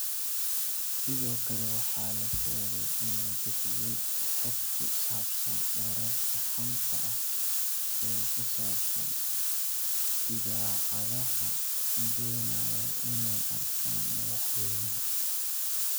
Sidoo kale waxaa la sheegay inuu bixiyay xog ku saabsan wararka xanta ah ee ku saabsan idaacadaha doonaya inay arkaan madaxweynaha.